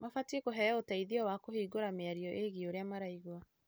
Mabatie kũheo ũteithio wa kũhingũra mĩario ĩgie ũrĩa maraigua.